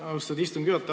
Austatud istungi juhataja!